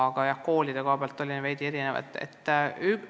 Aga jah, koolidel on erinevad vajadused.